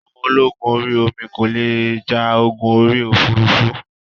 Àwọn ológun orí omi kò le ja ogun orí òfurufú